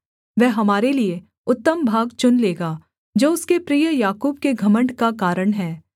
वह हमारे लिये उत्तम भाग चुन लेगा जो उसके प्रिय याकूब के घमण्ड का कारण है सेला